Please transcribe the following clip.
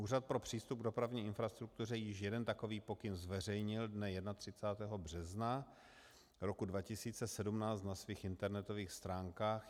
Úřad pro přístup k dopravní infrastruktuře již jeden takový pokyn zveřejnil dne 31. března roku 2017 na svých internetových stránkách.